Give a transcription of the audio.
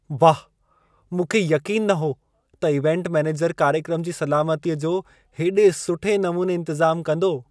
वाह! मूंखे यक़ीन न हो त इवेंट मैनेजर कार्यक्रम जी सलामतीअ जो हेॾे सुठे नमूने इंतज़ाम कंदो।